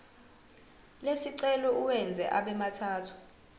lesicelo uwenze abemathathu